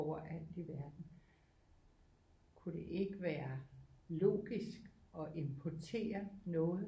Overalt i verden kunne det ikke være logik at importere noget